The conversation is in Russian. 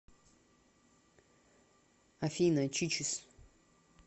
афина чичес